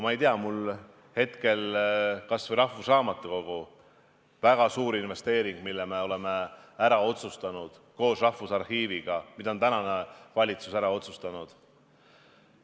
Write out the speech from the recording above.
Ma ei tea, mul tuleb hetkel meelde kas või Rahvusraamatukogu, koos Rahvusarhiiviga, väga suur investeering, mille me oleme praeguse valitsusega ära otsustanud.